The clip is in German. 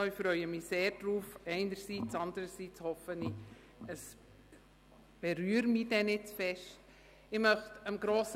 Einerseits freue ich mich sehr darauf, und anderseits hoffe ich, dass es mich dann nicht zu stark berührt.